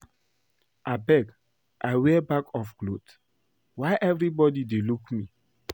Abeg I wear back of cloth? Why everybody dey look me?